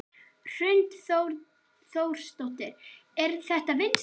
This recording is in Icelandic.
Hrund Þórsdóttir: Er þetta vinsælt?